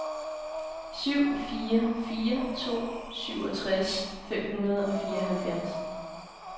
syv fire fire to syvogtres fem hundrede og fireoghalvfjerds